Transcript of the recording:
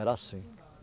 Era assim.